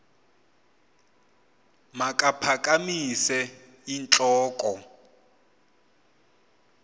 makaphakamise int loko